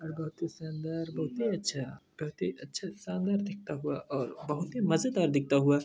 बहुत ही शानदार बहुत ही अच्छा दिखता हुआ और बहुत ही मजेदार दिखता हुआ--